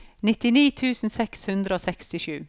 nittini tusen seks hundre og sekstisju